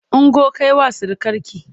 Ungo kai wa surukarki!